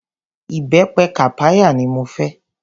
Ìbẹpẹ kàpáyà ni mo fẹ́.